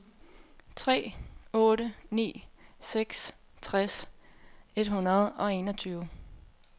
tre otte ni seks tres et hundrede og enogtyve